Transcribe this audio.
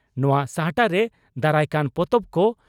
ᱱᱚᱣᱟ ᱥᱟᱦᱴᱟᱨᱮ ᱫᱟᱨᱟᱭᱠᱟᱱ ᱯᱚᱛᱚᱵ ᱠᱚ